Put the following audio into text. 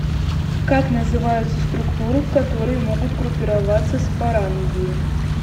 как называются структуры в которые могут группироваться спорангии